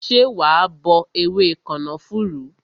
Ṣé wa bọ ewé kànáfùrú?